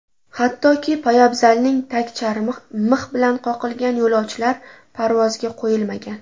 Hattoki, poyabzalining tagcharmi mix bilan qoqilgan yo‘lovchilar parvozga qo‘yilmagan.